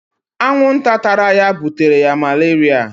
Anwụ nta tara ya butere ya maleria